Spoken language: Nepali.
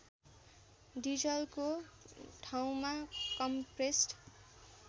डिजलको ठाउँमा कम्प्रेस्ड